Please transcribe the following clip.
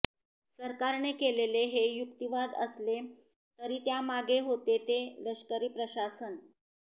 सरकारने केलेले हे युक्तिवाद असले तरी त्यामागे होते ते लष्करी प्रशासन